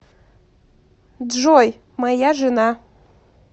джой моя жена